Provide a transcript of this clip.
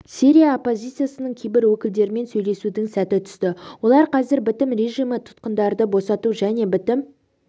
сирия оппозициясының кейбір өкілдерімен сөйлесудің сәті түсті олар қазір бітім режимі тұтқындарды босату және бітім